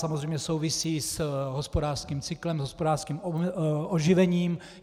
Samozřejmě souvisí s hospodářským cyklem, s hospodářským oživením.